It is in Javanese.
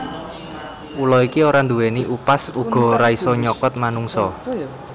Ula iki ora nduwèni upas uga ora isa nyokot manungsa